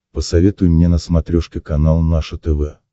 посоветуй мне на смотрешке канал наше тв